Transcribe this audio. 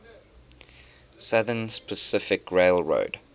southern pacific railroad